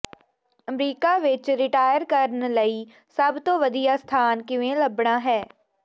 America ਵਿਚ retire ਕਰਨ ਲਈ ਸਭ ਤੋਂ ਵਧੀਆ ਸਥਾਨ ਕਿਵੇਂ ਲੱਭਣਾ ਹੈ